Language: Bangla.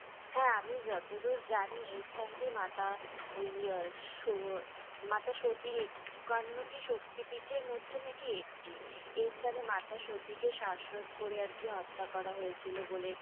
হ্যাঁ আমি যতদূর জানি স্থানটি মাতা ওই মাতা সতীর একান্নটি শক্তিপীঠের মধ্যে নাকি একটি। এই স্থানে মাতা সতী কে শ্বাসরোধ করে আরকি হত্যা করা হয়েছিল বলে